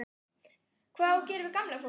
Hvað á að gera við gamla fólkið?